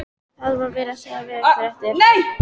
Það var verið að segja veðurfréttir.